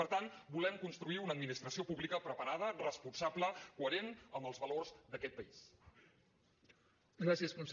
per tant volem construir una administració pública preparada responsable coherent amb els valors d’aquest país